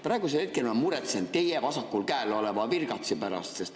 Praegu ma muretsen teie vasakul käel oleva virgatsi pärast.